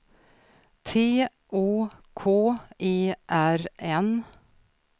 T Å K E R N